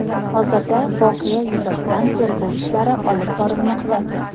Hozirda voqea yuzasidan tergov ishlari olib borilmoqda.